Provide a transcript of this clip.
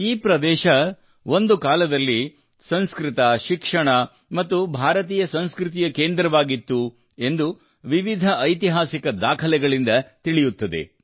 ಈ ಪ್ರದೇಶವು ಒಂದು ಕಾಲದಲ್ಲಿ ಸಂಸ್ಕೃತ ಶಿಕ್ಷಣ ಮತ್ತು ಭಾರತೀಯ ಸಂಸ್ಕೃತಿಯ ಕೇಂದ್ರವಾಗಿತ್ತು ಎಂದು ವಿವಿಧ ಐತಿಹಾಸಿಕ ದಾಖಲೆಗಳಿಂದ ತಿಳಿಯುತ್ತದೆ